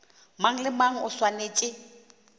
mang le mang o swanetše